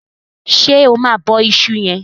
ṣe ọ Ma bó iṣu yen?